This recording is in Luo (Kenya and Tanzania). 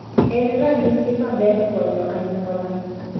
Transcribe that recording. En ranyisi maber konyo anyuola.